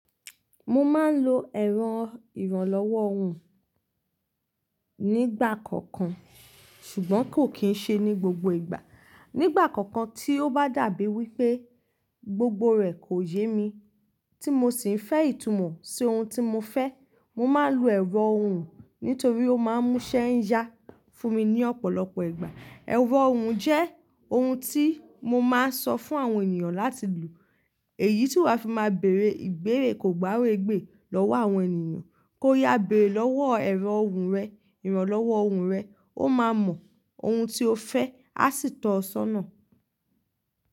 Mo máa ń lo ẹ̀rọ ìrànlọ́wọ́ ohùn nígbà kọ̀kan, ṣùgbọ́n kò kì ṣe ní gbogbo ìgbà. Nígbà kọ̀kan tí ó bá dàbí wí pé gbogbo rẹ̀ kò yé mi tí mo sì ń fẹ́ ìtumọ̀ sí ohun tí mo fẹ́, mo máa ń lo ẹ̀rọ ohùn nítorí ó máa ń múṣẹ́ yá fún mi ní ọ̀pọ̀lọpọ̀ ìgbà. Ẹ̀rọ ohùn jẹ́ ohun tí mo máa ń sọ fún àwọn ènìyàn láti lo, èyí tí wà fi máa bèrè ìbéèrè kògbáregbè lọ́wọ́ àwọn ènìyàn kó yá bẹ̀rẹ̀ lọ́wọ́ ẹ̀rọ ohùn rẹ, ìrànlọ́wọ́ ohùn rẹ, ó máa mọ ohun tí o fẹ́, á sì tọ̀ ọ sọ́nà.